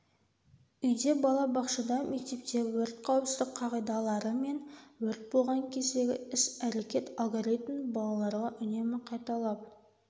үйде бала бақшада мектепте өрт қауіпсіздік қағидалары мен өрт болған кездегі іс-әрекет алгоритмін балаларға үнемі қайталап